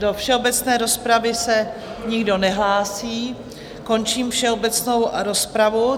Do všeobecné rozpravy se nikdo nehlásí, končím všeobecnou rozpravu.